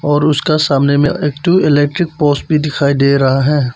और उसका सामने में एक ठो इलेक्ट्रिक पोल्स भी दिखाई दे रहा है।